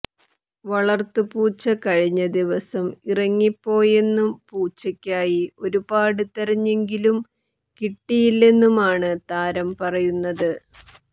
വളര്ത്തു പൂച്ച കഴിഞ്ഞ ദിവസം ഇറങ്ങിപ്പോയെന്നും പൂച്ചയ്ക്കായി ഒരുപാട് തെരഞ്ഞെങ്കിലും കിട്ടിയില്ലെന്നുമാണ് താരം പറയുന്നത്